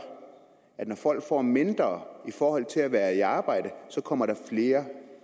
at når folk får mindre i forhold til at være i arbejde kommer der flere